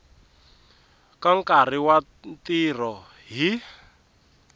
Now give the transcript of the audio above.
ka nkarhi wa ntirho hi